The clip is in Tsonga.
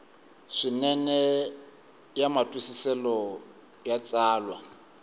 swinene ya matwisiselo ya tsalwa